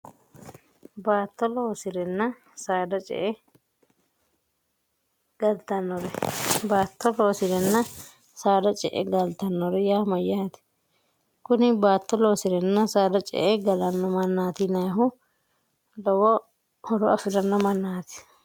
baatto loosi'renna saada ce e galtannore baatto hoosirenna saada ce e galtannore yaa mayyaati kuni baatto loosirenna saada ce e galanno mannaatinehu lowo horo afi'ranno mannaati